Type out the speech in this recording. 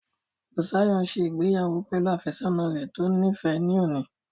Bùsáyọ̀ n ṣe ìgbéyàwó pẹ̀lú àfẹ́sọ́nà rẹ̀ tó níìfẹ́ ní òní